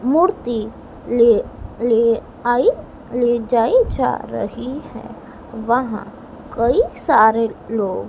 मूर्ति ले ले आई ले जा रही है वहां कई सारे लो--